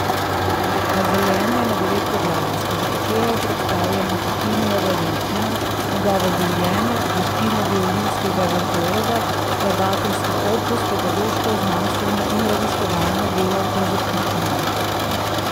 Razdeljena je na devet poglavij, skozi katera je predstavljena Tartinijeva veličina, njegovo življenje, veščine violinskega virtuoza, skladateljski opus, pedagoško, znanstveno in raziskovalno delo ter zapuščina .